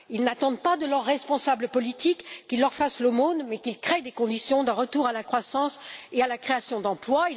Ils n'attendent pas de leurs responsables politiques qu'ils leur fassent l'aumône, mais qu'ils créent les conditions d'un retour à la croissance et à la création d'emplois.